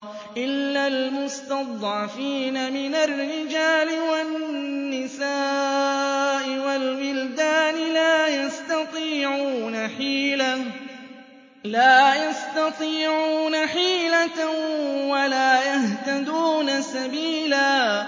إِلَّا الْمُسْتَضْعَفِينَ مِنَ الرِّجَالِ وَالنِّسَاءِ وَالْوِلْدَانِ لَا يَسْتَطِيعُونَ حِيلَةً وَلَا يَهْتَدُونَ سَبِيلًا